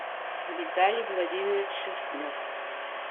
виталий владимирович шерстнев